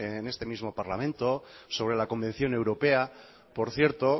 en este mismo parlamento sobre la convención europea por cierto